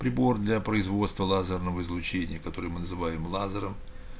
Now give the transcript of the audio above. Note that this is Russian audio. прибор для производства лазерного излучения которые мы называем лазером